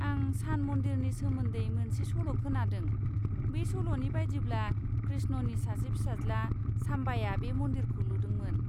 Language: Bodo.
आं सान मन्दिरनि सोमोन्दै मोनसे सल' खोनादों, बे सल'नि बायदिब्ला कृष्णनि सासे फिसाज्ला, साम्बाया बे मन्दिरखौ लुदोंमोन।